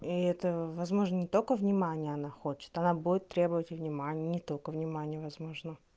и это возможно не только внимание она хочет она будет требовать и внимание не только внимание возможно